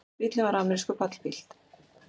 Bíllinn var amerískur pallbíll